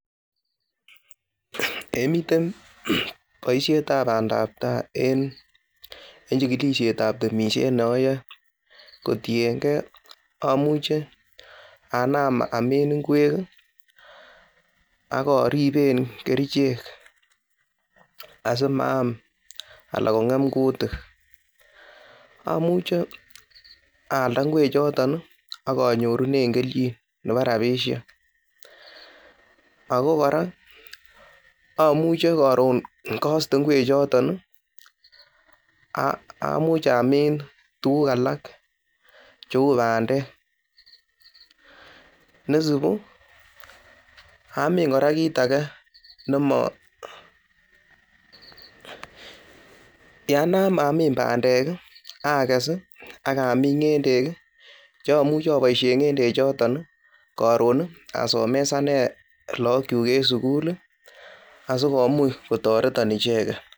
Eiy miten bosiet ab bandab tai en chikilisiet ab temisiet ne oyoe, kotienge amuche anam amin ngwek, ak orib kerichek asimaam ana kong'em kutik amuche aalda ngwek choton ak onyorunen kelchin nebo bandek. Ago kora amuche koron koste ngwek choton amuch amin tuguk alak cheu bandek nesibu amin kora kit age nemo, ya nam amin bandek akes, ak amin, ng'endek cheamuche aboisien ng'endek choton koron asomesanen lagokyuk en sukul asikomuch kotoreton icheget.